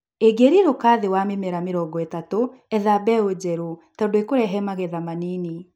Ĩngĩrirũka thĩ wa mĩmera mĩrongo ĩtatũ, etha mbeũ njerũ tondu ĩkurehe magetha manini